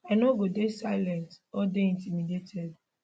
i no go dey silenced or dey intimidated